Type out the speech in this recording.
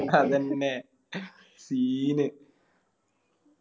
അതെന്നെ Scene